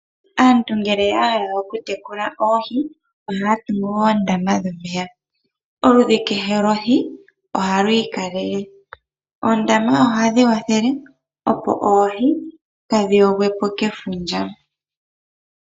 Aantu ngele ya hala oku tekula oohi ohaa tungu oondama dhomeya. Oludhi kehe lwohi oha lu ikalele. Oondama ohadhi wathele opo oohi kaadhi yogwepo kefundja.